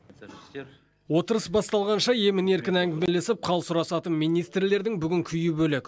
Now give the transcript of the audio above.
отырыс басталғанша емін еркін әңгімелесіп хал сұрасатын министрлердің бүгін күйі бөлек